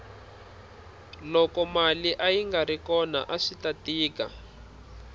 loko mali ayingari kona aswita tika